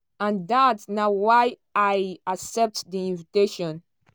and dat na why i accept di invitation."